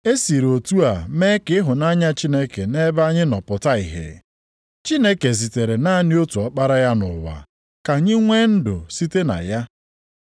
E siri otu a mee ka ịhụnanya Chineke nʼebe anyị nọ pụta ìhè: Chineke zitere naanị otu Ọkpara ya nʼụwa ka anyị nwee ndụ site na ya.